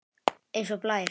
Eins og blær.